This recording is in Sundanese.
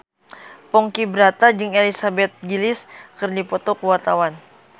Ponky Brata jeung Elizabeth Gillies keur dipoto ku wartawan